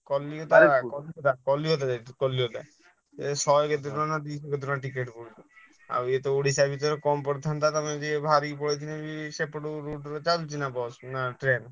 କଲିକତା କଲିକତା ଯାଇଥିଲୁ କଲିକତା ଏ ଶହେ କେତେ ଟଙ୍କା ନା ଦୁଇ ଶହ କେତେ ଟଙ୍କା କହୁଥିଲା ଆଉ ଏ ତ ଓଡ଼ିଶ ଭିତରେ କମ ପଡ଼ିଥାନ୍ତା ତମେ ଯଦି ବାହାରିକି ପଳେଇଥିଲେ ଭି ସେପଟ route ରେ ଚାଲିଛି ନା ବସ ନା ଟ୍ରେନ?